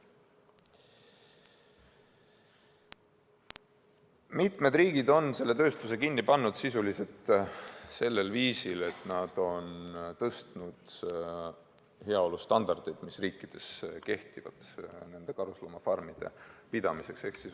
" Mitmed riigid on selle tööstuse sisuliselt kinni pannud sel viisil, et nad on tõstnud heaolu standardeid, mis kehtivad karusloomafarmide pidamiseks.